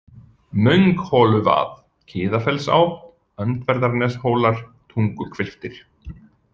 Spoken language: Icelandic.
Möngholuvað, Kiðafellsá, Öndverðarneshólar, Tunguhvilftir